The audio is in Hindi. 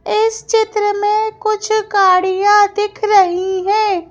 इस चित्र में कुछ गाड़ियां दिख रही हैं।